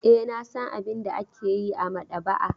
E, na san abin da ake yi a maɗaba'a.